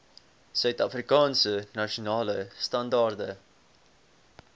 suidafrikaanse nasionale standaarde